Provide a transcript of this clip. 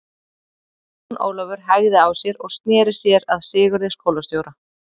Jón Ólafur hægði á sér og sneri sér að Sigurði skólastjóra.